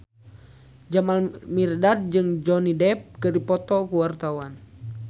Jamal Mirdad jeung Johnny Depp keur dipoto ku wartawan